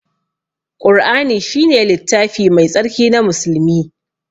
Ƙur'ani shine littafi mai tsarki na musulmi.